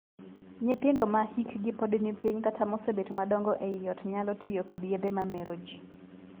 Nyithindo ma hikgi pod ni piny kata mosebet madongo ei ot nyalo tiyo kod yedhe ma mero jii.